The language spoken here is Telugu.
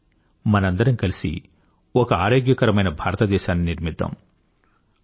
రండి మనందరం కలిసి ఒక ఆరోగ్యకరమైన భారతదేశాన్ని నిర్మిద్దాం